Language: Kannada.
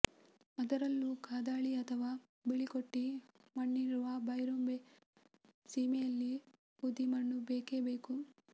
ಅದರಲ್ಲೂ ಕಾದಾಳಿ ಅಥವಾ ಬಿಳಿಕೊಟ್ಟಿ ಮಣ್ಣಿರುವ ಬೈರುಂಭೆ ಸೀಮೆಯಲ್ಲಿ ಉದಿಮಣ್ಣು ಬೇಕೇ ಬೇಕು